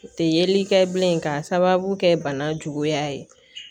U tɛ yeli kɛ bilen k'a sababu kɛ bana juguya ye